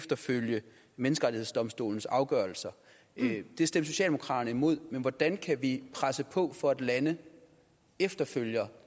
at følge menneskerettighedsdomstolens afgørelser det stemte socialdemokraterne imod men hvordan kan vi presse på for at lande følger